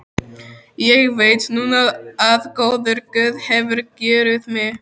Ég veit núna að góður guð hefur kjörið mig.